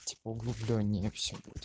типо углубленнее все будет